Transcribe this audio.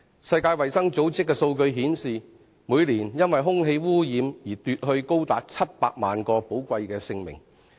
世界衞生組織的數據顯示，空氣污染每年奪去多達700萬人的寶貴生命。